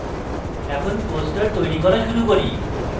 এখন poster তৈরী করা শুরু করি